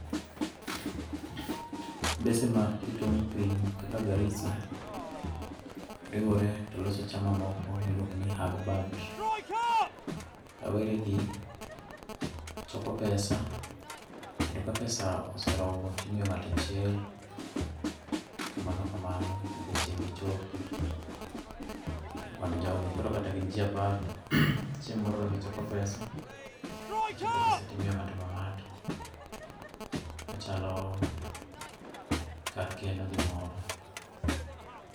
Mbese ma e tong piny kaka Garisa, riwore to loso chama moko mi iluongo ni AGBAD.Rawere gi choko pesa kendo ka pesa oseromo ti imiyo ng'ato achiel kamano kamano nyaka chieng' gi chopi e kwand jo gi koro kata gin ji apar chieng' moro ka gi choko pesa ichoko pesa ti imiyo ng'ato ka ng'ato ma chalo kar keno gi moro.